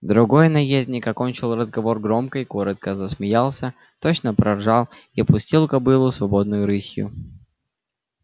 другой наездник окончил разговор громко и коротко засмеялся точно проржал и пустил кобылу свободной рысью